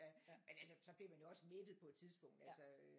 Men altså så bliver man jo også mættet på et tidspunkt altså øh